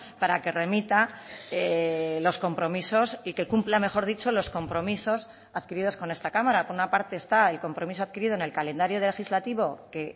para que remita los compromisos y que cumpla mejor dicho los compromisos adquiridos con esta cámara por una parte está el compromiso adquirido en el calendario legislativo que